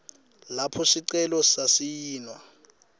lapho sicelo sasayinwa